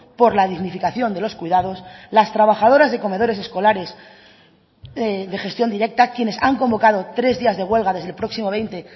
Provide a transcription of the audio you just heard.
por la dignificación de los cuidados las trabajadoras de comedores escolares de gestión directa quienes han convocado tres días de huelga desde el próximo veinte